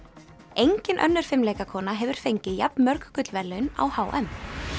engin önnur hefur fengið jafn mörg gullverðlaun á h m